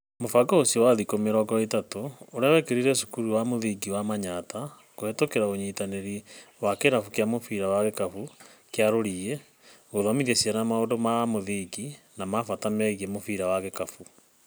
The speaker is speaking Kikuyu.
Mũbango ũcio wa Thikũ mĩrongo ĩtatũ ũrĩa wekĩkire cukuruinĩ wa Mũthingi wa Manyatta kuhĩtũkĩra ũnyitanĩri wa kĩrabu kĩa mũbira wa gĩkabu kĩa Ruriĩ, guthomithia ciana maũndũ ma mũthingi na ma bata megiĩ mũbira wa gikabu.